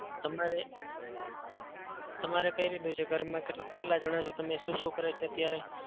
તમારે તમારે કઈ રીતનું છે ઘરમાં? મતલબ કેટલા જણા છો તમે? શું શું કરે છે અત્યારે?